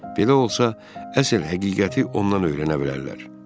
Belə olsa əsl həqiqəti ondan öyrənə bilərlər.